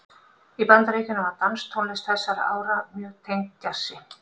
Í Bandaríkjunum var danstónlist þessara ára mjög tengd djassi.